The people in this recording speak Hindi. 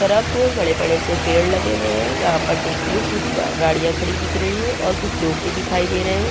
तरफ बड़े-बड़े से पेड़ लगे हुए है यहाँ पर देखिए कुछ गाड़िया खड़ी दिख रही है और कुछ लोग भी दिखाई दे रहे है।